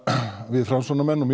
við Framsóknarmenn og